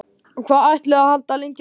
Hvað ætlið þið að halda lengi áfram?